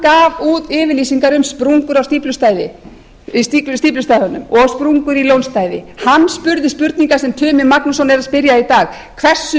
gaf út yfirlýsingar um sprungur á stíflustæðunum og sprungur í lónstæði hann spurði spurninga sem tumi magnússon er að spyrja í dag hversu